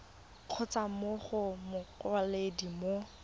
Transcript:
kgotsa mo go mokwaledi mo